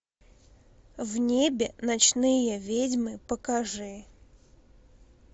в небе ночные ведьмы покажи